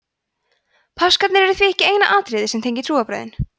páskarnir eru því ekki eina atriðið sem tengir trúarbrögðin